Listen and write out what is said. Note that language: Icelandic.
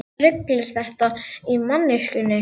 Hvaða rugl er þetta í manneskjunni?